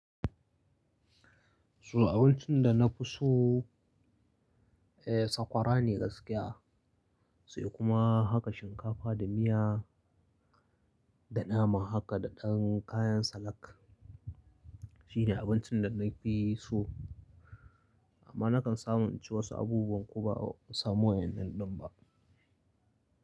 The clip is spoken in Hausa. To abincin da na fi so, eh, sakwara ne gaskiya sai kuma haka shinkafa da miya, da nama haka da ɗan kayan salak. Shine abincin da na fi so, amma na kan samu inci wasu abubuwan ko ba'a samu wa'innan ɗin ba.